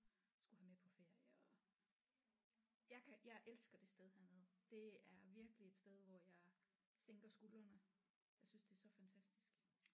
Skulle have med på ferie og jeg kan jeg elsker det sted hernede det er virkelig et sted hvor jeg sænker skuldrene jeg synes det er så fantastisk